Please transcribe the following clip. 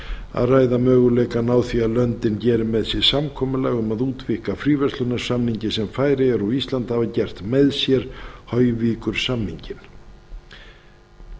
að ræða möguleikann á því að löndin geri með sér samkomulag um að útvíkka fríverslunarsamning sem færeyjar og ísland hafa gert með sér hojvíkursamninginn